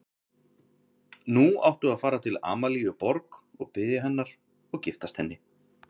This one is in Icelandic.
Nú áttu að fara til Amalíu Borg og biðja hennar og giftast henni.